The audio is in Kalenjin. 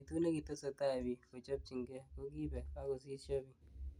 Betut nekitesetai bik kochopjinkei kokibek akosisho bik.